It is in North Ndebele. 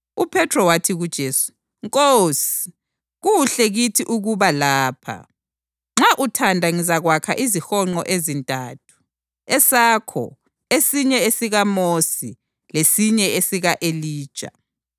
UPhethro wathi kuJesu, “Nkosi, kuhle kithi ukuba lapha. Nxa uthanda ngizakwakha izihonqo ezintathu, esakho, esinye esikaMosi lesinye esika-Elija.”